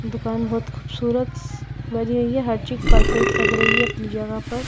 दुकान बहुत खूबसूरत श् बनी हुई है हर चीज परफेक्ट लग रही है अपनी जगह पर--